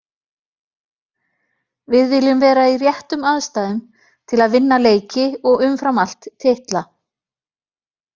Við viljum vera í réttum aðstæðum til að vinna leiki og umfram allt titla.